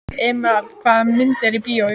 Emeralda, hvaða myndir eru í bíó á sunnudaginn?